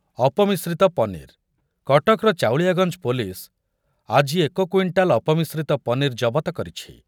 ଅପମିଶ୍ରିତ ପନିର୍, କଟକର ଚଉଳିଆଗଞ୍ଜ ପୋଲିସ୍‌ ଆଜି ଏକ କ୍ୱିଣ୍ଟାଲ୍ ଅପମିଶ୍ରିତ ପନିର୍ ଜବତ କରିଛି।